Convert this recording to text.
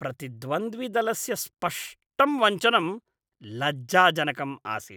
प्रतिद्वन्द्विदलस्य स्पष्टं वञ्चनं लज्जाजनकम् आसीत्।